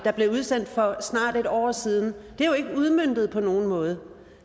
der blev udsendt for snart et år siden er jo ikke udmøntet på nogen måde